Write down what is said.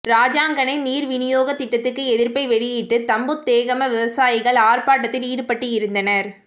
ராஜாங்கனை நீர் விநியோகத் திட்டத்துக்கு எதிர்ப்பை வெளியிட்டு தம்புத்தேகம விவசாயிகள் ஆர்ப்பாட்டத்தில் ஈடுபட்டிருந்தனர்